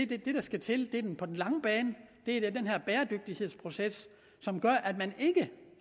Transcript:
det der skal til på den lange bane er den her bæredygtighedsproces som gør at man ikke